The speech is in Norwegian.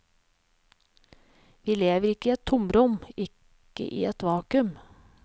Vi lever ikke i et tomrom, ikke i et vakuum.